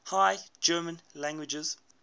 high german languages